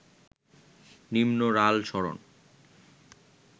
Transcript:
নিম্ন রাল সরণ